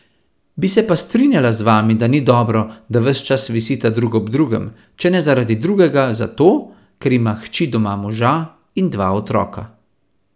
Bi se pa strinjala z vami, da ni dobro, da ves čas visita drug ob drugem, če ne zaradi drugega, zato, ker ima hči doma moža in dva otroka.